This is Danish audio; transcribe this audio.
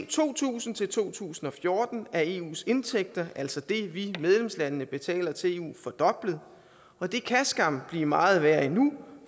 to tusind til to tusind og fjorten er eus indtægter altså det vi medlemslande betaler til eu fordoblet og det kan skam blive meget værre endnu